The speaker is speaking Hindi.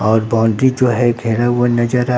और बाउंड्री जो है घेरा हुआ है वह नजर आ--